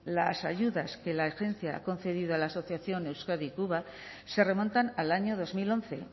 las ayudas que la agencia ha concedido a la asociación euskadi cuba se remontan al año dos mil once